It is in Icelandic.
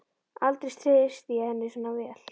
Aldrei treysti ég henni svona vel.